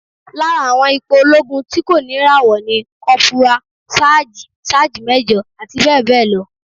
Lára àwọn ipò olóogun tí kò ní ìràwọ̀ ni Kọ́púrà, Sáàjì, Sáájì Méjọ̀, abbl.